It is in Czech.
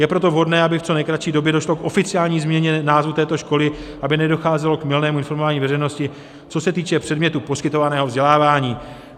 Je proto vhodné, aby v co nejkratší době došlo k oficiální změně názvu této školy, aby nedocházelo k mylnému informování veřejnosti, co se týče předmětu poskytovaného vzdělávání.